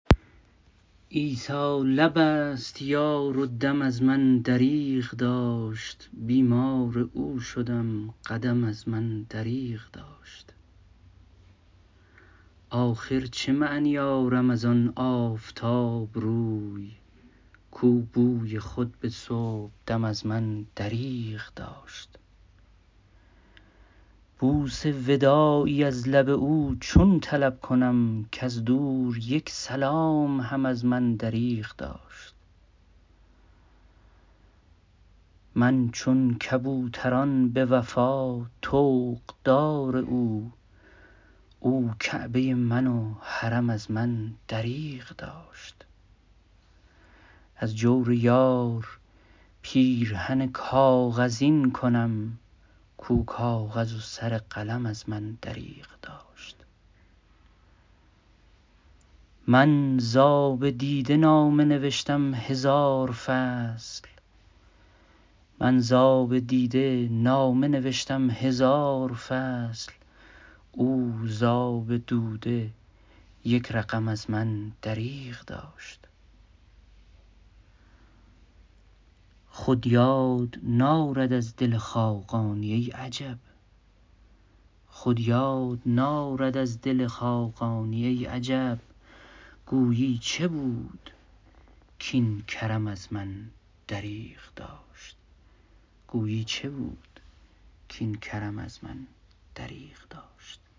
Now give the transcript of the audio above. عیسی لب است یار و دم از من دریغ داشت بیمار او شدم قدم از من دریغ داشت آخر چه معنی آرم از آن آفتاب روی کو بوی خود به صبح دم از من دریغ داشت بوس وداعی از لب او چون طلب کنم کز دور یک سلام هم از من دریغ داشت من چون کبوتران به وفا طوق دار او او کعبه من و حرم از من دریغ داشت از جور یار پیرهن کاغذین کنم کو کاغذ و سر قلم از من دریغ داشت من ز آب دیده نامه نوشتم هزار فصل او ز آب دوده یک رقم از من دریغ داشت خود یار نارد از دل خاقانی ای عجب گویی چه بود کاین کرم از من دریغ داشت